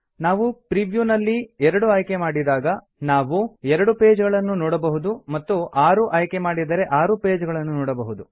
ನಾವು preview ನಲ್ಲಿ 2 ಆಯ್ಕೆ ಮಾಡಿದಾಗ ನಾವು 2 ಪೇಜ್ ಗಳನ್ನು ನೋಡಬಹುದು ಮತ್ತು 6 ಆಯ್ಕೆ ಮಾಡಿದರೆ 6 ಪೇಜ್ ಗಳನ್ನು ನೋಡಬಹುದು